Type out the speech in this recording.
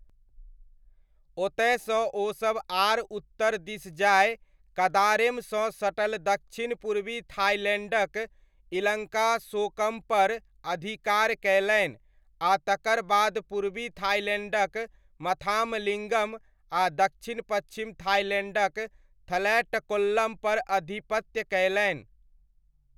ओतयसँ ओसभ आर उत्तर दिस जाय कदारेमसँ सटल दक्षिण पूर्वी थाईलैण्डक इलङ्कासोकमपर अधिकार कयलनि आ तकर बाद पूर्वी थाइलैण्डक मथामलिङ्गम, आ दक्षिण पच्छिम थाइलैण्डक थलैटक्कोलम पर आधिपत्य कयलनि।